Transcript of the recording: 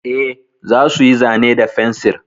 Eh, za su yi zane da fensir.